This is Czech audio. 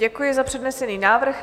Děkuji za přednesený návrh.